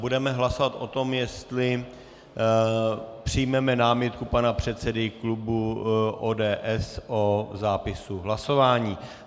Budeme hlasovat o tom, jestli přijmeme námitku pana předsedy klubu ODS o zápisu hlasování.